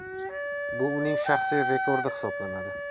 Bu uning shaxsiy rekordi sanaladi.